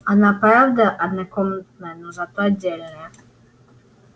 она правда однокомнатная но зато отдельная